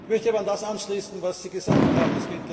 Ich möchte aber an das anschließen, was Sie gesagt haben.